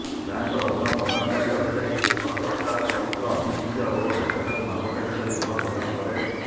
ବ୍ୟାଙ୍କର ଋଣ ପ୍ରଦାନକାରୀ ଅଧିକାରୀ ଋଣଗ୍ରହୀତାର ଚରିତ୍ର ଆଭିମୁଖ୍ୟ ଓ ଦକ୍ଷତାକୁ ମାପକାଠି କରି ଋଣ ପ୍ରଦାନ କରେ